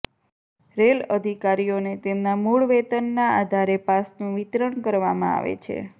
rail અધિકારીઓ ને તેમના મૂડ વેતન ના આધારે પાસ નું વિતરણ કરવામાં આવે છે